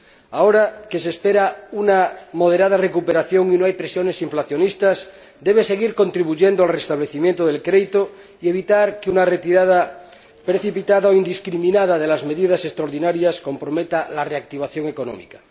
Ahora que se espera una moderada recuperación y no hay presiones inflacionistas, debe seguir contribuyendo al restablecimiento del crédito y evitar que una retirada precipitada o indiscriminada de las medidas extraordinarias comprometa la reactivación económica.